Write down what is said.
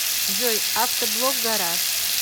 джой авто блог гараж